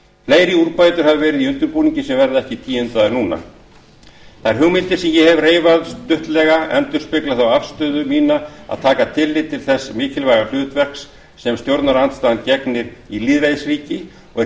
fleiri úrbætur hafa verið í undirbúningi sem verða ekki tíundaðar nú þær hugmyndir sem ég hef hér reifað stuttlega endurspegla þá afstöðu mína að taka tilliti til þess mikilvæga hlutverks sem stjórnarandstaðan gegnir í lýðræðisríki og er